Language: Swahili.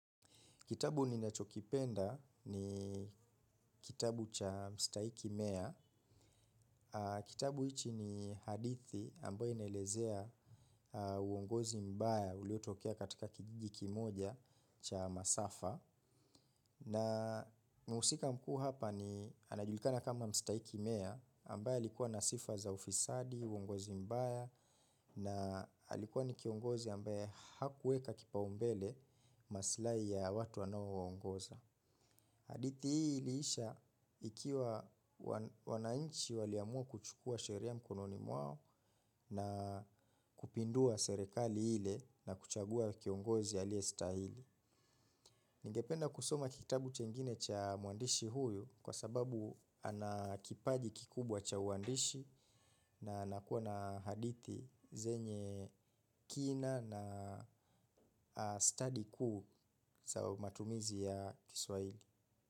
Kitabu ninachokipenda ni kitabu cha mstahiki mea. Kitabu hichi ni hadithi ambaye inaelezea uongozi mbaya uliotokea katika kijiji kimoja cha masafa. Na mhusika mkuu hapa ni anajulikana kama mstahiki mea ambaye alikuwa na sifa za ufisadi, uongozi mbaya na alikuwa ni kiongozi ambaye hakuweka kipaumbele maslahi ya watu anaouongoza. Hadithi hili iliisha ikiwa wanainchi waliamua kuchukua sheria mkononi mwao na kupindua serekali ile na kuchagua kiongozi aliyestahili. Ningependa kusoma kitabu chengine cha mwandishi huyu kwa sababu ana kipaji kikubwa cha mwandishi na anakuwa na hadithi zenye kina na stadi kuu za matumizi ya kiswahili.